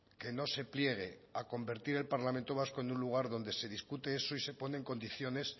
que no se pliegue a convertir el parlamento vasco en un lugar donde se discute eso y se ponen condiciones